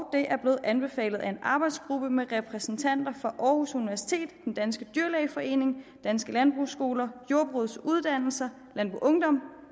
er blevet anbefalet af en arbejdsgruppe med repræsentanter fra aarhus universitet den danske dyrlægeforening danske landbrugsskoler jordbrugets uddannelser landboungdom